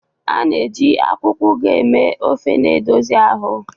A na-eji akwụkwọ Ugu eme ofe na-edozi ahụ.